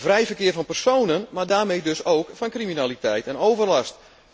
Vrij verkeer van personen, maar daarmee dus ook van criminaliteit en overlast.